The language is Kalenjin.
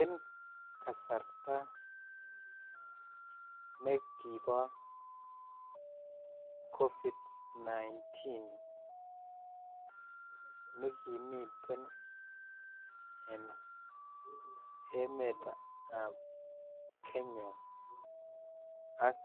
En kasarta nekibo Covid-19 nekimiten en emetab kenya ak